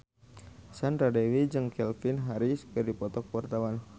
Sandra Dewi jeung Calvin Harris keur dipoto ku wartawan